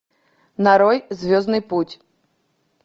нарой звездный путь